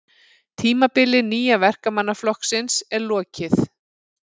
Tímabili Nýja Verkamannaflokksins er lokið